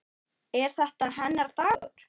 Er þetta hennar dagur?